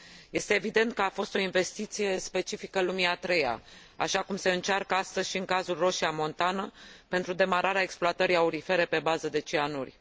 Este evident că a fost o investiție specifică lumii a treia, așa cum se încearcă astăzi și în cazul Roșia Montană pentru demararea exploatării aurifere pe bază de cianuri.